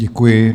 Děkuji.